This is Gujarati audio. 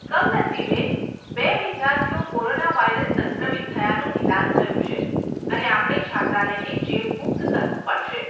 કમનસીબે બે વિદ્યાર્થીઓ કોરોના વાયરસ સંક્રમિત થયાંનું નિદાન થયું છે અને આપણે છાત્રાલયને ચેપમુક્ત કરવું પડશે.